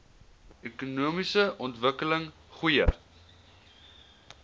ekonomiese ontwikkeling goeie